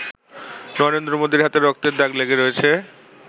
নরেন্দ্র মোদির হাতে রক্তের দাগ লেগে রয়েছে।